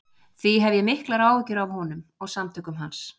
Því hef ég miklar áhyggjur af honum og af samtökum hans.